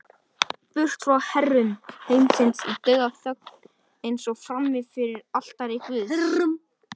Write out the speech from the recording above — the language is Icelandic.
Burt frá herrum heimsins í dauðaþögn, eins og frammi fyrir altari guðs.